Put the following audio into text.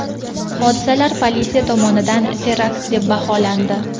Hodisalar politsiya tomonidan terakt deb baholandi .